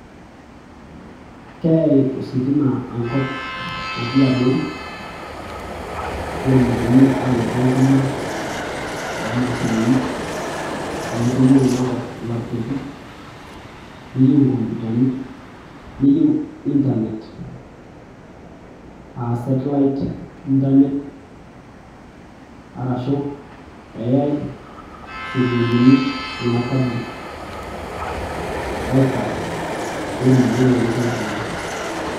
Keeyai ositima enkop natii abori netumokini aanoto enkima oomashinini amu keyieu ina kop ilaptopi neyieu inkomputani neyieu internet aa satellite internet Arashuu eyai schoolini kuna public wifi peetumoki iltung'anak aitumiya.